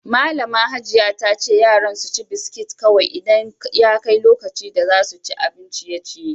Malami Hajiya ta ce yaran su ci biskit kowai idan ya kai lokaci da za su ci abin ciye-ciye.